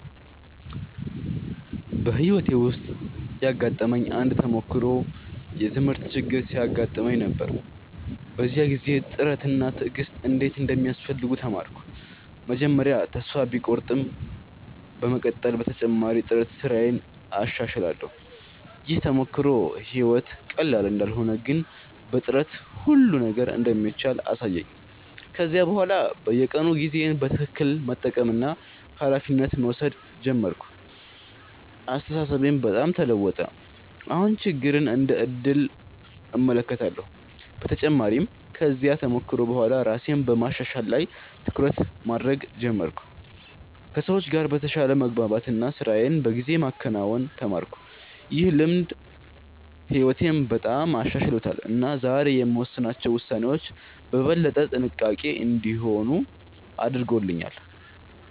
በሕይወቴ ውስጥ ያጋጠመኝ አንድ ተሞክሮ የትምህርት ችግር ሲያጋጥመኝ ነበር። በዚያ ጊዜ ጥረት እና ትዕግሥት እንዴት እንደሚያስፈልጉ ተማርኩ። መጀመሪያ ተስፋ ቢቆርጠኝም በመቀጠል በተጨማሪ ጥረት ስራዬን አሻሽላለሁ። ይህ ተሞክሮ ሕይወት ቀላል እንዳልሆነ ግን በጥረት ሁሉ ነገር እንደሚቻል አሳየኝ። ከዚያ በኋላ በየቀኑ ጊዜዬን በትክክል መጠቀምና ኃላፊነት መውሰድ ጀመርኩ። አስተሳሰቤም በጣም ተለወጠ፤ አሁን ችግርን እንደ ዕድል እመለከታለሁ። በተጨማሪም ከዚያ ተሞክሮ በኋላ ራሴን በማሻሻል ላይ ትኩረት ማድረግ ጀመርኩ፣ ከሰዎች ጋር በተሻለ መግባባት እና ስራዬን በጊዜ ማከናወን ተማርኩ። ይህ ልምድ ሕይወቴን በጣም አሻሽሎታል እና ዛሬ የምወስናቸው ውሳኔዎች በበለጠ ጥንቃቄ እንዲሆኑ አድርጎኛል።